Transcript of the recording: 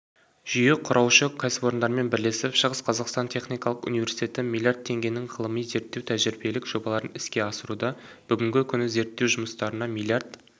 жүйе құраушы кәсіпорындармен бірлесіп шығыс қазақстан техникалық университеті млрд теңгенің ғылыми зерттеу тәжірибелік жобаларын іске асыруда бүгінгі күні зерттеу жұмыстарына млрд